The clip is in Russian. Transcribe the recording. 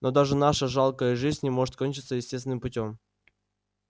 но даже наша жалкая жизнь не может кончиться естественным путём